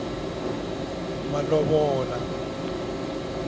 malovola